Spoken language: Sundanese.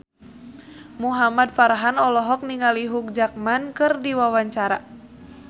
Muhamad Farhan olohok ningali Hugh Jackman keur diwawancara